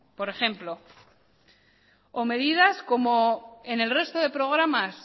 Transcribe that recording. por ejemplo o medidas como en el resto de programas